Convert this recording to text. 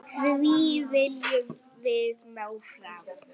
Því viljum við ná fram.